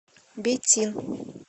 бетин